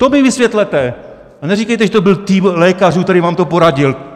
To mi vysvětlete a neříkejte, že to byl tým lékařů, který vám to poradil.